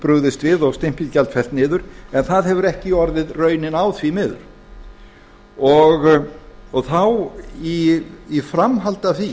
brugðist við og stimpilgjald fellt niður en það hefur ekki orðið raunin á því miður í framhaldi af því